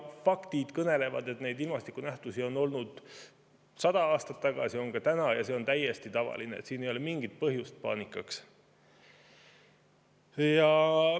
Faktid kõnelevad, et neid ilmastikunähtusi oli sada aastat tagasi, neid on ka täna, ja see on täiesti tavaline, siin ei ole mingit põhjust paanikaks.